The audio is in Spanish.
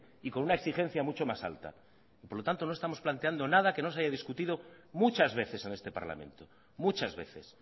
y con una exigencia mucho más alta por lo tanto no estamos planteando nada que no se haya discutido muchas veces en este parlamento muchas veces